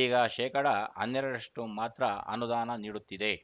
ಈಗ ಶೇಕಡಾ ಹನ್ನೆರಡರಷ್ಟುಮಾತ್ರ ಅನುದಾನ ನೀಡುತ್ತಿದೆ